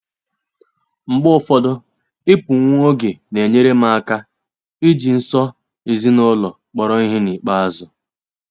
Mgbe ụfọdụ, ịpụ nwa oge na-enyere m aka iji nso ezinụlọ kpọrọ ihe n'ikpeazụ.